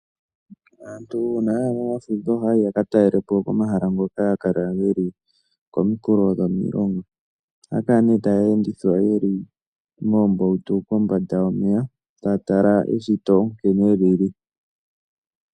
Aantu uuna ya ya momafudho ohaya yi ya ka talele po komahala ngoka haga kala ge li kominkulo dhomilonga. Ohaya kala nee taya endithwa ye li moombautu kombanda yomeya, taya tala eshito nkene li li.